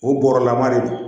O bɔrala ma de